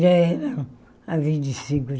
Já era a vinte e cinco de